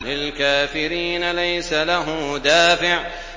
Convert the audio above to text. لِّلْكَافِرِينَ لَيْسَ لَهُ دَافِعٌ